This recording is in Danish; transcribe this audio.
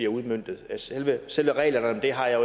udmøntet selve selve reglerne om det har jeg